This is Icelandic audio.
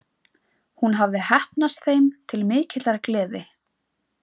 Hún hafði heppnast þeim til mikillar gleði.